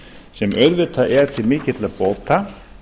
sem auðvitað er til mikilla bóta